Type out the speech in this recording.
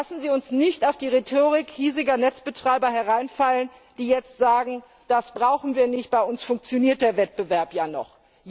Lassen Sie uns nicht auf die Rhetorik hiesiger Netzbetreiber hereinfallen, die jetzt sagen Das brauchen wir nicht, bei uns funktioniert der Wettbewerb ja noch.